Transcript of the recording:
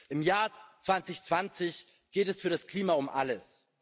Im Jahr 2020 geht es für das Klima um alles.